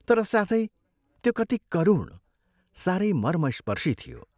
तर साथै त्यो कति करुण, सारै मर्मस्पर्शी थियो।